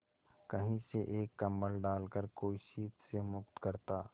कहीं से एक कंबल डालकर कोई शीत से मुक्त करता